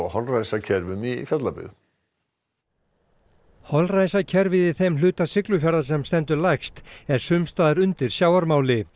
á holræsakerfum í Fjallabyggð holræsakerfið í þeim hluta Siglufjarðar sem stendur lægst er sums staðar undir sjávarmáli